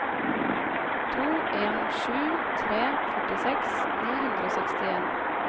to en sju tre førtiseks ni hundre og sekstien